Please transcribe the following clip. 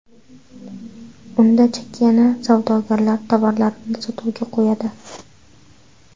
Unda chakana savdogarlar tovarlarini sotuvga qo‘yadi.